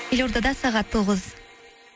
елордада сағат тоғыз